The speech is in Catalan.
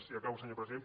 i acabo senyor president